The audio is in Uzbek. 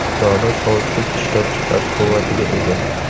dona sovitkich ishlab chiqarish quvvatiga ega.